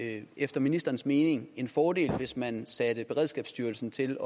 det efter ministerens mening en fordel hvis man satte beredskabsstyrelsen til